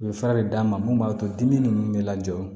U bɛ fura de d'a ma mun b'a to dimi ninnu bɛ lajɔ